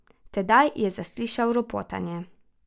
Tedaj je zaslišal ropotanje.